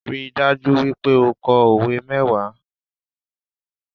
Ríi dájú wípé o ko òwe mẹ́wàá